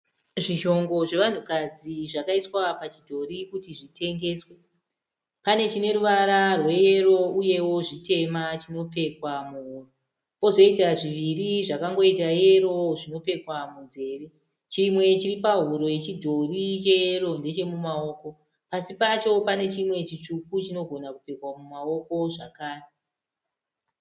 Zvishongo zvevanhukadzi zvakaiswa pachidhori kuti zvitengeswe. Pane chine ruvara rweyero uyewo zvitema chinopfekwa muhuro. Pozoita zviviri zvakangoita yero zvinopfekwa munzveve. Chimwe chiri pahuro yechidhori cheyero ndechemumaoko. Pasi pacho pane chimwe chitsvuku chinogona kupfekwa mumaoko zvakare.